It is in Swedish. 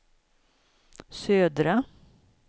södra